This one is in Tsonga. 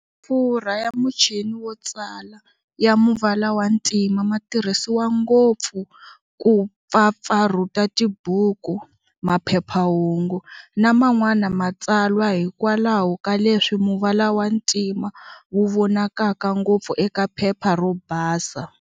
Mafurha ya muchini wo tsala, ya muvala wa ntima matirhisiwa ngopfu ku pfapfarhuta tibuku, maphephahungu na man'wana matsalwa hikwalaho ka leswi muvala wa ntima wu vonakaka ngopfu eka phepha ro basa.